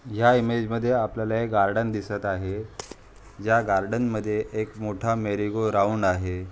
या इमेज मध्ये आपल्याला गार्डन दिसत आहे. ज्या गार्डन मध्ये एक मोठा मेरीगो राऊंड आहे.